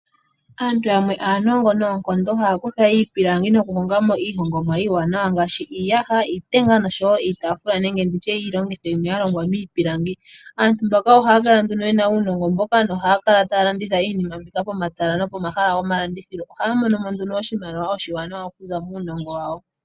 Aantu yamwe aanongo noonkondo, haya kutha iipilangi nokuhonga mo iihongomwa iiwanawa ngaashi iiyaha, iitenga nosho wo iitafula nenge ndi tye iilongitho yimwe ya longwa miipilangi. Aantu mbaka ohaya kala nduno ye na uunongo mboka nohaya kala taya landitha iinima mbika pomatala nopomahala gomalandithilo. Ohaya mono mo nduno oshimaliwa oshiwanawa okuza muunongo wawo.